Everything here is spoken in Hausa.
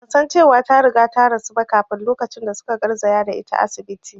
Ban san cewa ta riga ta rasu ba kafin lokacin da su ka garzaya da ita asibiti